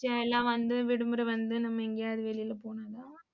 எல்லாம் வந்து, விடுமுறை வந்து நம்ம எங்கயாவது வெளில போலாம்னா